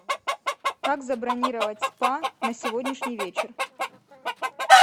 как забронировать спа на сегодняшний вечер